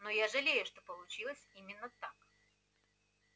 но я жалею что получилось именно так